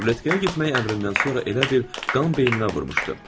Ruletkaya getmək əmrindən sonra elə bil qan beynimə vurmuşdu.